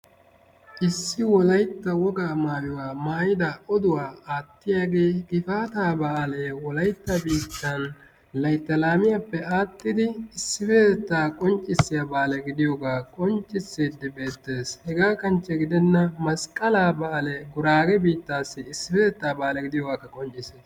Issi wolaytta wogaa maayuwa maayida oduwa aattiyagee Gifaataa baalee wolaytta biittan laytta laamiyappe axxidi issippetettaa qonccissiya baale gidiyogaa qonccissiyiddi beettees. Hegaa kanchche gidenna Masqqalaa baalee Guraage biittaas issippetettaa baale gidiyogaakka qonccissees.